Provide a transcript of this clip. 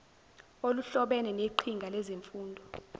oluhlobene neqhinga lezemfundo